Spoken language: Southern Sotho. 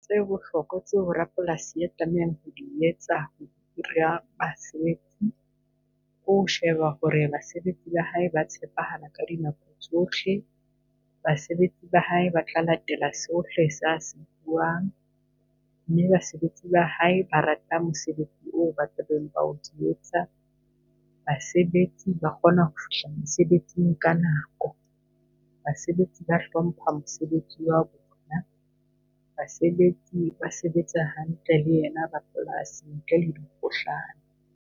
Tse bohlokwa tseo rapolasi a tlamehang ho di etsa basebetsi ko sheba hore basebetsi ba hae ba tshepahala ka dinako tsohle. Basebetsi ba hae ba tla latela sohle sa se buang, mme basebetsi ba hae ba rata mosebetsi oo ba tlabeng ba o yetsa. Basebetsi ba kgona ho fihla mosebetsing ka nako. Basebetsi ba hlompha mosebetsi wa bona, basebetsi ba sebetsa hantle le yena rapolasi ntle le dikgohlano.